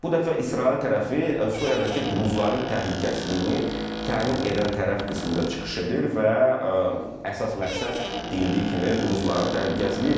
Bu dəfə İsrail tərəfi Suriyadakı druzların təhlükəsizliyini təmin edən tərəf qismində çıxış edir və əsas məqsəd deyildiyi kimi druzların təhlükəsizliyidir.